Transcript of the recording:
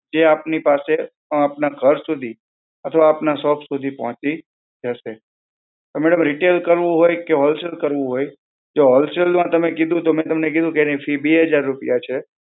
જે આપની પાસે આપના ઘર સુધી અથવા આપના શોપ સુધી પહોંચી જશે. તો madam retail કરવું હોય કે wholesale કરવું હોય, જો wholesale માં તમે કીધું તો મેં તમને કીધું કે એની ફી બે હજાર રૂપિયા છે.